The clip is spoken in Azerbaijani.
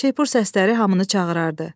Şeypur səsləri hamını çağırardı.